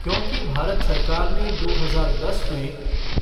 क्योंकि भारत सरकार ने दो हजार दस में